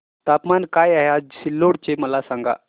तापमान काय आहे आज सिल्लोड चे मला सांगा